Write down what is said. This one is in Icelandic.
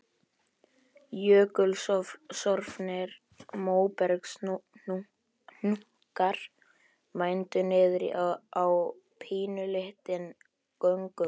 Jökulsorfnir móbergshnúkar mændu niður á pínulítinn göngumanninn.